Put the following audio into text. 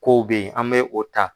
Ko be yen, an be o ta.